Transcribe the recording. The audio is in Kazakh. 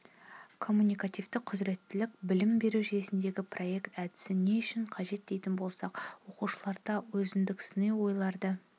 коммуникативті құзіреттілік білім беру жүйесіндегі проект әдісі не үшін қажет дейтін болсақ оқушыларда өзіндік сыни ойларды